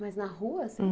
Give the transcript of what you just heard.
Mas na rua assim?